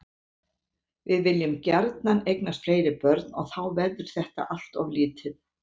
Við viljum gjarnan eignast fleiri börn og þá verður þetta allt of lítið.